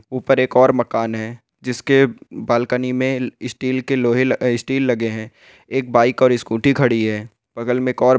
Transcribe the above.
ऊपर एक और मकान है जिसके बलकनी में स्टील के लोहे अ स्टील लगे हैं एक बाइक और स्कूटी खड़ी है बगल में एक और--